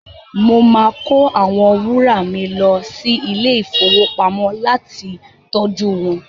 Mo máa kó àwọn wárà mi lọ sí ilé-ìfowópamọ́ láti tọjú wọn.